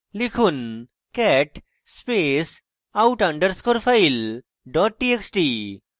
লিখুন cat space out underscore file dot txt